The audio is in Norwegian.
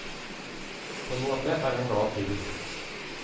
På en måte er han glad til.